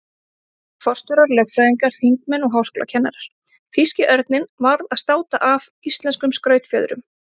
Forstjórar, lögfræðingar, þingmenn og háskólakennarar- þýski örninn varð að státa af íslenskum skrautfjöðrum.